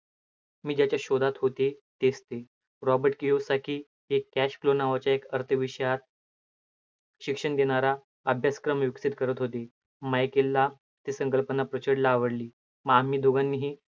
मी ज्याच्या शोधात होते, तेच ते रॉबर्ट केवसारखी एक cash flow नावाच्या एक अर्थ विषयात शिक्षण देणारा अभ्यासक्रम विकसित करत होती. माईकेलला ती संकल्पना प्रचंड आवडली. मग आम्ही दोघांनीही